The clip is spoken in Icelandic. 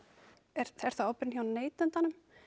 er er þá ábyrgðin hjá neytandanum